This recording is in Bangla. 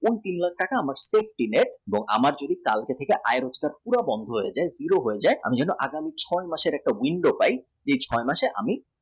এই তিন লাখ টাকা আমার প্রত্যেক দিনের আমার যদি আয় রোজগার পুরো বন্ধ হয়ে যায় zero হয়ে যায় ছয় মাসের একটা window পাই এই ছয় মাসে যেন আমি